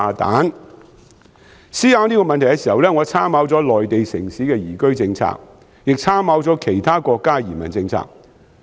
在思考這個問題時，我參考了內地城市的移居政策，亦參考了其他國家的移民政策。